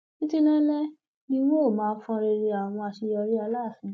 títí láéláé ni n ó máa fọnrẹrẹ àwọn àṣeyọrí aláàfin